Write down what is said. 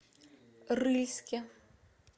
рыльске